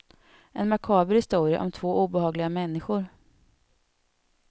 En makaber historia, om två obehagliga människor.